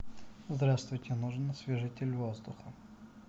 здравствуйте нужен освежитель воздуха